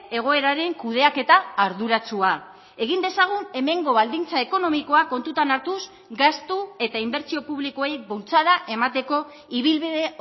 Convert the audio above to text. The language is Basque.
egoeraren kudeaketa arduratsua egin dezagun hemengo baldintza ekonomikoak kontutan hartuz gastu eta inbertsio publikoei bultzada emateko ibilbide